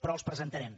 però els presentarem